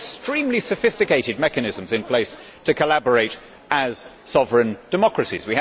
We had extremely sophisticated mechanisms in place to collaborate as sovereign democracies.